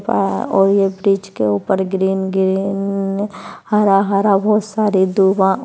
अ और ये ब्रिज के ऊपर ग्रीन ग्रीन हरा-हरा बहुत सारी धुआँ --